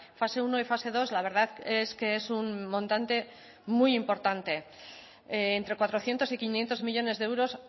fase uno y fase dos la verdad es que es un montante muy importante entre cuatrocientos y quinientos millónes de euros